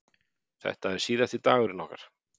Þetta er síðasti dagurinn okkar.